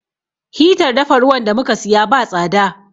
Hitar dafa ruwan da mu ka siya ba tsada.